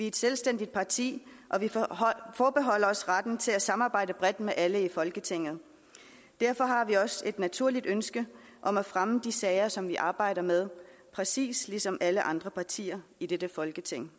et selvstændigt parti og vi forbeholder os retten til at samarbejde bredt med alle i folketinget derfor har vi også et naturligt ønske om at fremme de sager som vi arbejder med præcis ligesom alle andre partier i dette folketing